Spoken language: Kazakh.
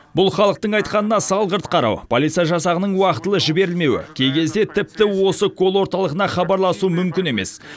бұл халықтың айтқанына салғырт қарау полиция жасағының уақытылы жіберілмеуі кей кезде тіпті осы колл орталығына хабарласу мүмкін емес